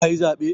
Ka yi zaɓe?